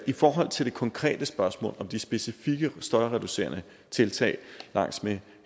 i forhold til det konkrete spørgsmål om de specifikke støjreducerende tiltag langs med